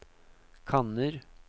kanner